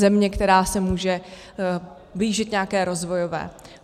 Země, která se může blížit nějaké rozvojové.